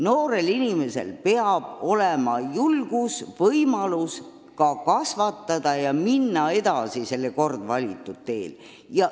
Noorel inimesel peab olema võimalus minna edasi kord valitud teel.